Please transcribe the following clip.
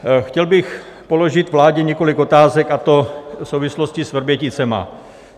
Chtěl bych položit vládě několik otázek, a to v souvislosti s Vrběticemi.